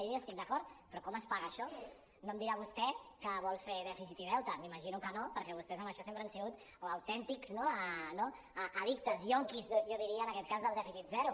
jo hi estic d’acord però com es paga això no em dirà vostè que vol fer dèficit i deute m’ima·gino que no perquè vostès en això sempre han sigut autèntics no addictes ionquis jo diria en aquest cas del dèficit zero